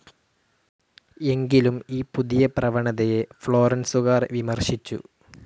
എങ്കിലും ഈ പുതിയ പ്രവണതയെ ഫ്ലോറന്സുകാർ വിമർശിച്ചു.